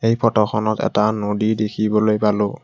এই ফটোখনত এটা নদী দেখিবলৈ পালোঁ।